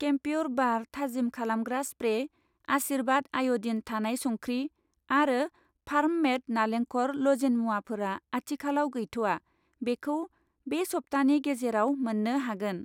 केमप्युर बार थाजिम खालामग्रा स्प्रे, आशीर्वाद आय'दिन थानाय संख्रि आरो फार्म मेड नालेंखर लजेन मुवाफोरा आथिखालाव गैथ'आ, बेखौ बे सप्तानि गेजेराव मोन्नो हागोन।